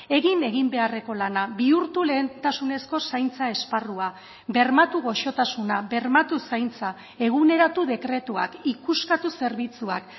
egin egin beharreko lana bihurtu lehentasunezko zaintza esparrua bermatu gozotasuna bermatu zaintza eguneratu dekretuak ikuskatu zerbitzuak